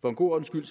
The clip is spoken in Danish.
for en god ordens skyld